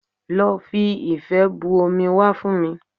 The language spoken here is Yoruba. Lọ fi ife bu omi wá fún mi